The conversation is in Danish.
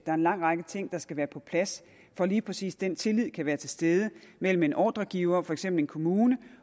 er en lang række ting der skal være på plads for at lige præcis den tillid kan være til stede mellem en ordregiver for eksempel en kommune